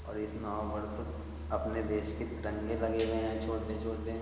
और इस नाव पर तो अपने देश के तिरंगे लगे हुए हैं छोटे-छोटे।